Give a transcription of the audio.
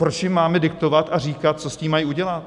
Proč jim máme diktovat a říkat, co s tím mají udělat?